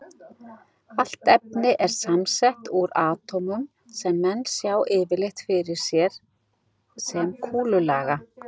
Allt efni er samsett úr atómum sem menn sjá yfirleitt fyrir sér sem kúlulaga.